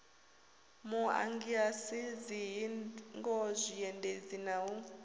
muagasi dzihingo zwiendedzi na u